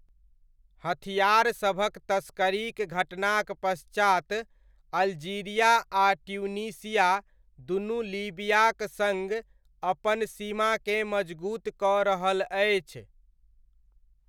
हथिआरसभक तस्करीक घटनाक पश्चात अल्जीरिया आ ट्यूनीशिया दुनू लीबियाक सङ्ग अपन सीमाकेँ मजगूत कऽ रहल अछि।